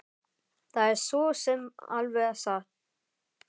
Það er svo sem alveg satt